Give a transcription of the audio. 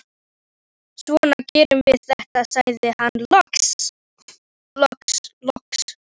Svona gerum við þetta, sagði hann loks.